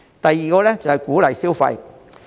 第二，是鼓勵消費。